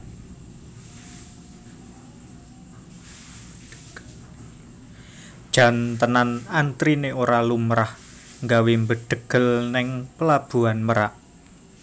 Jan tenan antrine ora lumrah nggawe mbedhegel ning Pelabuhan Merak